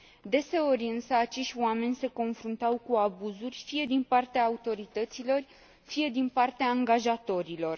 Deseori însă acești oameni se confruntau cu abuzuri, fie din partea autorităților, fie din partea angajatorilor.